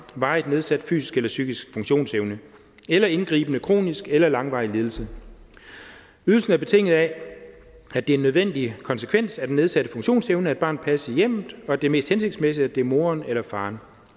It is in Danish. varigt nedsat fysisk eller psykisk funktionsevne eller indgribende kronisk eller langvarig lidelse ydelsen er betinget af at det er en nødvendig konsekvens af den nedsatte funktionsevne at barnet passes i hjemmet og at det er mest hensigtsmæssigt at det er moren eller faren